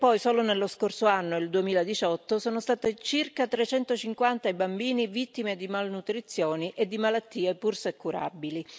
Solo nello scorso anno, il 2018, sono stati circa 350 i bambini vittime di malnutrizione e di malattie, pur se curabili.